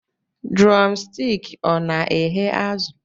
Drọmstik ọ na eghe azụ?